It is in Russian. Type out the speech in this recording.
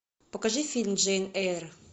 покажи фильм джейн эйр